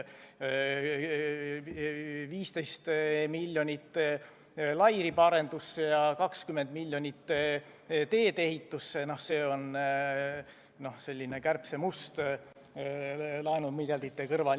See 15 miljonit lairibaarendusse ja 20 miljonit teedeehitusse, no see on selline kärbsemust laenumiljardite kõrval.